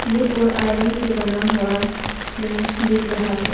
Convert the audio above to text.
Would और iron से बना हुआ बेंच दिख रहा है।